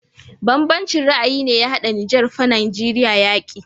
Ban banci ra ayi ne ya hada niger fa nageria yaƙi